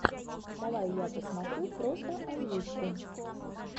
давай я посмотрю просто озвучку